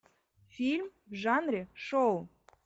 фильм в жанре шоу